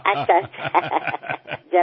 अच्छा अच्छा